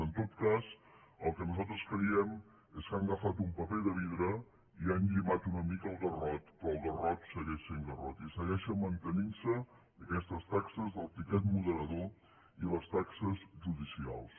en tot cas el que nosaltres creiem és que han agafat un paper de vidre i han llimat una mica el garrot però el garrot segueix sent garrot i segueixen mantenint se aquestes taxes del tiquet moderador i les taxes judicials